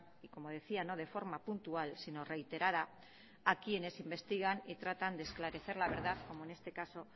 y como decía no de forma puntual sino reiterada a quienes investigar y tratan de esclarecer la verdad como en este caso